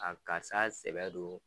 A karisa y'a sɛbɛ don.